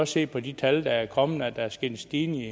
se på de tal der er kommet at der er sket en stigning i